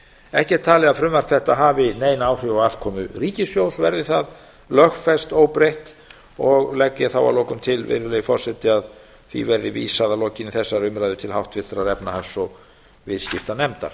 ekki er talið að frumvarp þetta hafi nein áhrif á afkomu ríkissjóðs verði það lögfest óbreytt og legg ég þá að lokum til virðulegi forseti að því verði vísað að lokinni þessari umræðu til háttvirtrar efnahags og viðskiptanefndar